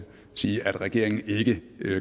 sige at regeringen ikke